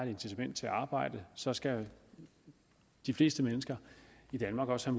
incitament til at arbejde så skal de fleste mennesker i danmark også